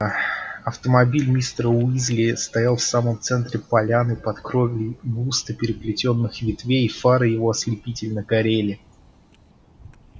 а автомобиль мистера уизли стоял в самом центре поляны под кровлей густо переплетённых ветвей фары его ослепительно горели